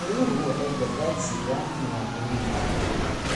Geeduhu waxay gabbaad siiyaan muwaadiniinta.